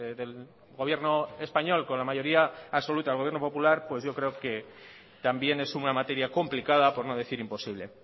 del gobierno español con la mayoría absoluta al gobierno popular pues yo creo que también es una materia complicada por no decir imposible